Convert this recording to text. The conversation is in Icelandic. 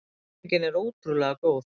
Stemningin er ótrúlega góð.